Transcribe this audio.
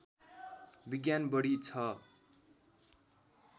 विज्ञान बढी ६